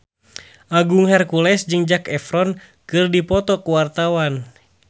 Agung Hercules jeung Zac Efron keur dipoto ku wartawan